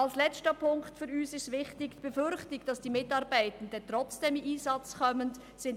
Als letzten Punkt möchte ich noch die Befürchtung hervorheben, dass Mitarbeitende zum Einsatz kommen könnten.